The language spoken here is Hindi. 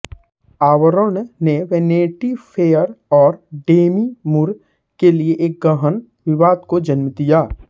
आवरण ने वैनिटी फ़ेयर और डेमी मूर के लिए एक गहन विवाद को जन्म दिया